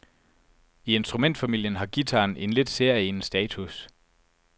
I instrumentfamilien har guitaren en lidt særegen status.